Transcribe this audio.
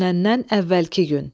Dünəndən əvvəlki gün.